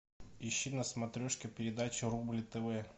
ищи на смотрешке передачу рубль тв